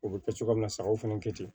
O bɛ kɛ cogoya min na sagaw fɛnɛ kɛ ten